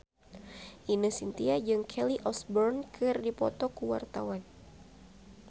Ine Shintya jeung Kelly Osbourne keur dipoto ku wartawan